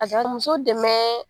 Ka muso dɛmɛ